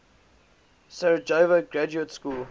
sarajevo graduate school